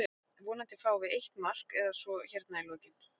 Vonandi fáum við eitt mark eða svo hérna í lokinn.